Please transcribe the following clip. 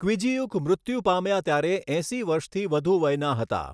ક્વિજીયુક મૃત્યુ પામ્યા ત્યારે એંસી વર્ષથી વધુ વયના હતા.